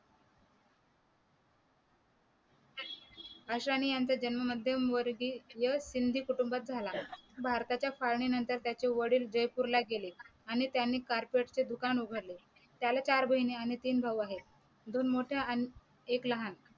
अशाने यांचा जन्म माध्यम वर्गीय सिंधी कुटुंबात झाला भारताच्या फाळणी नंतर त्याचे वडील जयपूर ला गेले आणि त्यांनी carpet चे दुकान उघडले त्याला चार बहिणी आणि तिन भाऊ आहे दोन मोठ्या आणि एक लहान